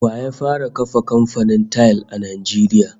Wa ya fara kafa kamfanin tayil a Najeriya?